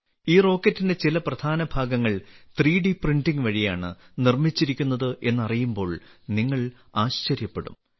ഈ റോക്കറ്റിന്റെ ചില പ്രധാന ഭാഗങ്ങൾ 3ഡി പ്രിന്റിംഗ് വഴിയാണ് നിർമ്മിച്ചിരിക്കുന്നത് എന്നറിയുമ്പോൾ നിങ്ങൾ ആശ്ചര്യപ്പെടും